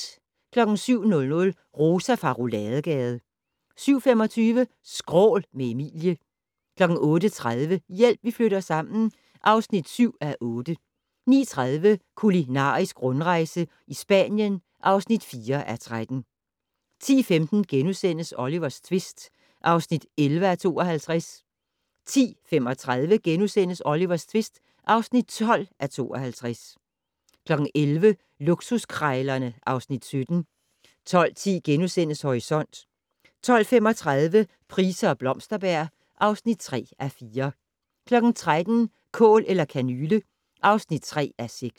07:00: Rosa fra Rouladegade 07:25: Skrål - med Emilie 08:30: Hjælp, vi flytter sammen (7:8) 09:30: Kulinarisk rundrejse i Spanien (4:13) 10:15: Olivers tvist (11:52)* 10:35: Olivers tvist (12:52)* 11:00: Luksuskrejlerne (Afs. 17) 12:10: Horisont * 12:35: Price og Blomsterberg (3:4) 13:00: Kål eller kanyle (3:6)